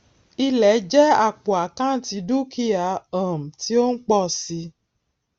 ilẹ jẹ àpò àkántì dúkìá um tí ó ń pọ si